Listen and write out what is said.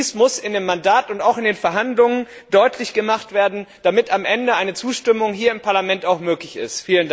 Dies muss in dem Mandat und auch in den Verhandlungen deutlich gemacht werden, damit am Ende eine Zustimmung hier im Parlament möglich ist.